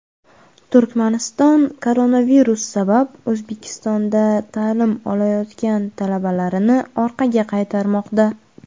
Turkmaniston koronavirus sabab O‘zbekistonda ta’lim olayotgan talabalarini orqaga qaytarmoqda.